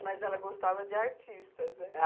Mas ela gostava de artistas, né?